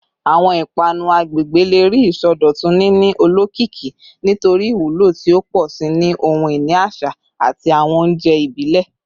Awọn ipanu agbegbe le rii isọdọtun, nini olokiki nitori iwulo ti o pọ si ni ohun-ini aṣa ati awọn ounjẹ ibile.